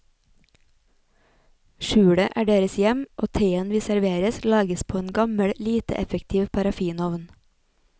Skjulet er deres hjem, og teen vi serveres lages på en gammel, lite effektiv parafinovn.